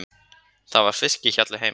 Það var í fiskhjalli heima.